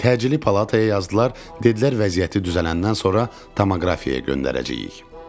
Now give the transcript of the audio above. Təcili palataya yazdılar, dedilər vəziyyəti düzələndən sonra tomoqrafiyə göndərəcəyik.